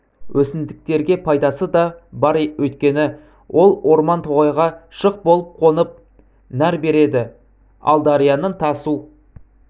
өсімдіктерге пайдасы да бар өйткені ол орман-тоғайға шық болып қонып нәр береді ал дарияның тасу